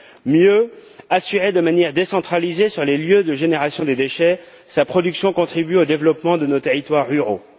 Mieux encore, si elle est assurée de manière décentralisée sur les lieux de génération des déchets, sa production contribue au développement de nos territoires ruraux.